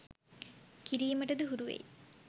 කිරීමටද හුරුවෙයි.